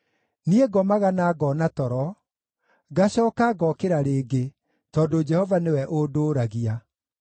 Niĩ ngomaga na ngoona toro; ngacooka ngokĩra rĩngĩ, tondũ Jehova nĩwe ũndũũragia.